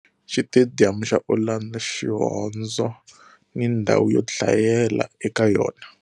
Xitediyamu xa Orlando, Xihondzo ni ndhawu yo dlayela eka yona